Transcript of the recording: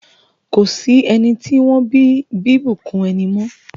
Ko sí ẹni tí wọ́n bí bíbùnkún ẹni mọ́.